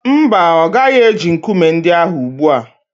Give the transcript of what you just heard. Mba, ọ gaghị eji nkume ndị ahụ ugbu a.